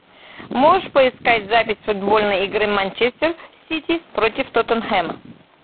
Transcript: можешь поискать запись футбольной игры манчестер сити против тоттенхэма